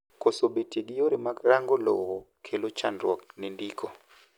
koso betie gi yore mag rango lowo kelo chandruok ne ndiko